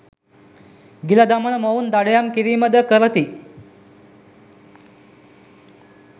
ගිල දමන මොවුන් දඩයම් කිරීම ද කරති.